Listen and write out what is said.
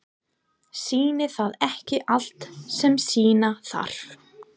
Sýnir það ekki allt sem sýna þarf?